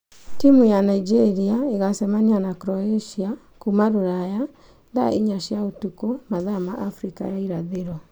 Timũ ya Nigeria ĩgacemania na Croatia kuma ũraya thaa inya cia ũtũkũ mathaa ma Afrika ya irathĩro.